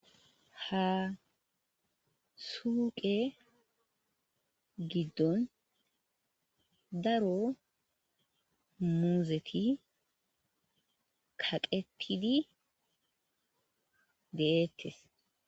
ha suuqe giddon daro muuzeti kaqetidi de'ettes